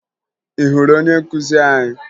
Ị hụrụ onye nkụzi anyị?